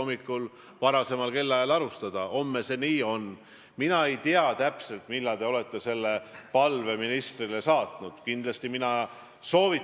Kui lähtuda sellest, et Eesti inimesed peaksid joonduma oma juhtide järgi, siis millise mulje võiks inimestele jätta see, kui valitsusliikmed Eesti õiguskaitseorganeid ei usalda?